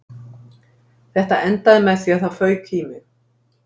Þetta endaði með því að það fauk í mig